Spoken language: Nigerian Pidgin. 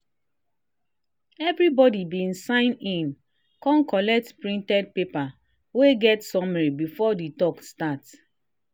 everybody been sign in kon collect printed paper wey get summary before the talk start.